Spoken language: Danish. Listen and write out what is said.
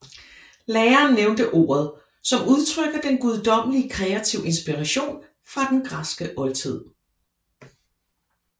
Læreren nævnte ordet som udtrykker den guddommelige kreative inspiration fra den græske oldtid